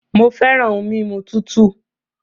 Mo fẹràn ohun mímu tútù